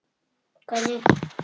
Hvernig og hvar vex ananas?